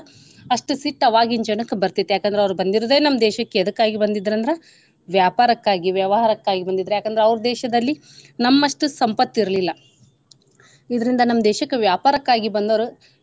ಅಷ್ಟ ಸಿಟ್ಟ ಆವಾಗಿನ ಜನಕ್ಕ ಬರ್ತಿತ್ತ. ಯಾಕ ಅಂದ್ರ ಅವ್ರ ಬಂದಿರೋದೇ ನಮ್ಮ ದೇಶಕ್ಕ ಎದಕ್ಕಾಗಿ ಬಂದಿದ್ರ ಅಂದ್ರ ವ್ಯಾಪಾರಕ್ಕಾಗಿ, ವ್ಯವಹಾರಕ್ಕಾಗಿ ಬಂದಿದ್ರ. ಯಾಕ ಅಂದ್ರ ಅವರ ದೇಶದಲ್ಲಿ ನಮ್ಮಷ್ಟು ಸಂಪತ್ತ ಇರ್ಲಿಲ್ಲಾ ಇದ್ರಿಂದ ನಮ್ಮ ದೇಶಕ್ಕ ವ್ಯಾಪಾರಕ್ಕಾಗಿ ಬಂದವ್ರು.